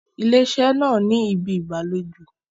Ilé iṣẹ́ náà ni ibi ìgbàlejò.